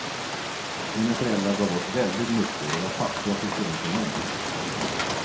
Mina föräldrar gav bort väldigt mycket och de var fattiga till skillnad från mig.